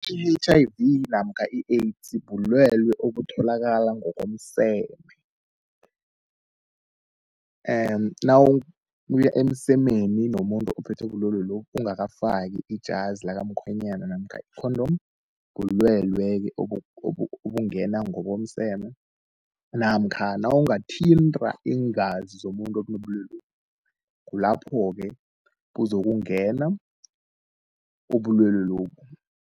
I-H_I_V namkha i-AIDS bulwele obutholaka ngokomseme. Nawuya emsemeni nomuntu ophethwe bulwele lobu, ungakafaki ijazi lakamkhwenyana namkha i-condom, bulwele-ke obungena ngokomseme namkha nawungathinta iingazi zomuntu onobulwelobu kulapho-ke kuzokungena ubulwele lobu.